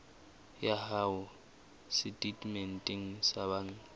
ya hao setatementeng sa banka